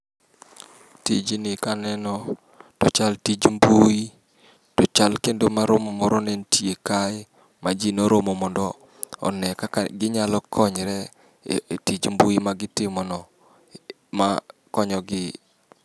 Tijni ka aneno to ochal tij mbui, to ochal kendo maromo moro ne nitie kae ma ji noromo mondo one kaka nyalo konyre e tich mbui ma gitimono ma konyogi.